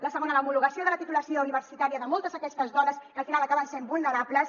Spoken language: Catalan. el segon l’homologació de la titula·ció universitària de moltes d’aquestes dones que al final acaben sent vulnerables